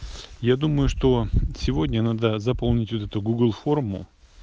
я думаю что сегодня надо заполнить вот эту гугл форму